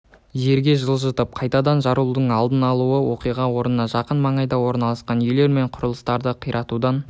жерге жылжытып қайтадан жарылудың алдын алды оқиға орнына жақын маңайда орналасқан үйлер мен құрылыстарды қиратудан